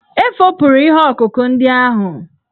E fopụrụ ihe ọkụkụ ndị ahụ.